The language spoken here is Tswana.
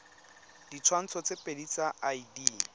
ditshwantsho tse pedi tsa id